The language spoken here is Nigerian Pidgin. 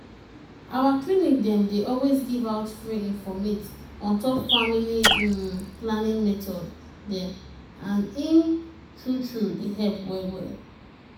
our clinic dem dey always give out free informate on top family hmm planning method dem and im true true dey help well well.